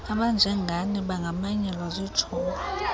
abanjengani bangamanyelwa zitshomi